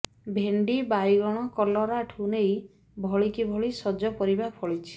ଭେଣ୍ଡି ବାଇଗଣ କଲରାଠୁ ନେଇ ଭଳିକି ଭଳି ସଜ ପରିବା ଫଳିଛି